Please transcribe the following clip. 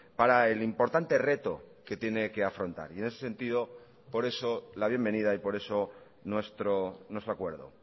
para el importante reto que tiene que afrontar y en ese sentido por eso la bienvenida y por eso nuestro acuerdo